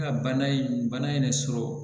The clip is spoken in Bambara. bana ye bana in yɛrɛ sɔrɔ